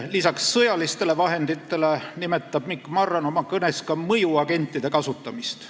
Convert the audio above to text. Lisaks sõjalistele vahenditele nimetas Mikk Marran oma kõnes ka mõjuagentide kasutamist.